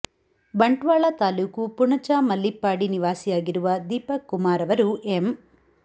ಬಂಟ್ವಾಳ ತಾಲೂಕು ಪುಣಚ ಮಲ್ಲಿಪ್ಪಾಡಿ ನಿವಾಸಿಯಾಗಿರುವ ದೀಪಕ್ ಕುಮಾರ್ ಅವರು ಎಂ